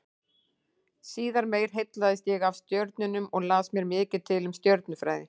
Síðar meir heillaðist ég af stjörnunum og las mér mikið til um stjörnufræði.